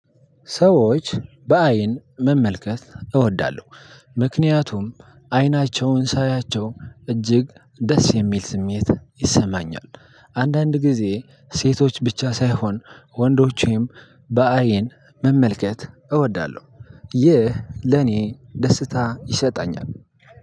ሰዎች በአይን መመልከት እወዳለሁ ምክንያቱም አይናቸውን ሳያቸው እጅግ ደስ የሚል ስሜት ይሰማኛል። አንዳንድ ጊዜ ሴቶች ብቻ ሳይሆን ወንዶችም በአይን መመልከት እወዳለሁ። ይህ ለኔ ደስታ ይሰጠኛል።